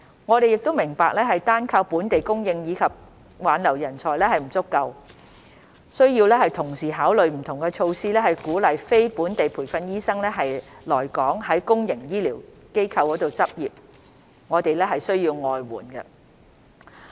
我們明白單靠本地供應及挽留人才並不足夠，需要同時考慮不同措施以鼓勵非本地培訓醫生來港在公營醫療機構執業，我們需要外援。